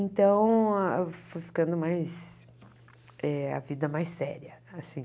Então foi ficando mais eh... a vida mais séria, assim.